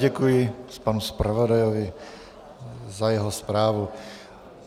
Děkuji panu zpravodajovi za jeho zprávu.